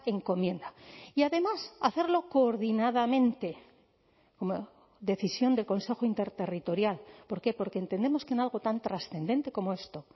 encomienda y además hacerlo coordinadamente como decisión del consejo interterritorial por qué porque entendemos que en algo tan trascendente como esto